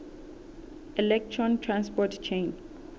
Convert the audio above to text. electron transport chain